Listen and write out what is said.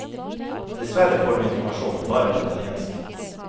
Dessverre får du informasjon bare på italiensk.